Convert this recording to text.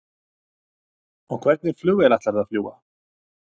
Karen: Og hvernig flugvél ætlarðu að fljúga?